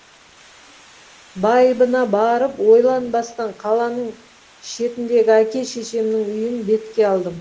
байыбына барып ойланбастан қаланың шетіндегі әке шешемнің үйін бетке алдым